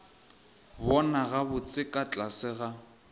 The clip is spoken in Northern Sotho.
bona gabotse ka tlase ga